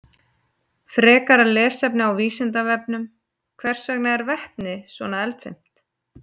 Frekara lesefni á Vísindavefnum: Hvers vegna er vetni svona eldfimt?